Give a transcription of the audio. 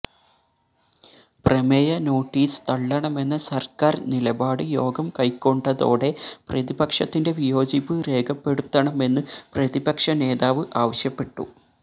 പ്രമേയ നോട്ടിസ് തള്ളണമെന്ന സര്ക്കാര് നിലപാട് യോഗം കൈക്കൊണ്ടതോടെ പ്രതിപക്ഷത്തിന്റെ വിയോജിപ്പ് രേഖപ്പെടുത്തണമെന്ന് പ്രതിപക്ഷ നേതാവ് ആവശ്യപ്പെട്ടു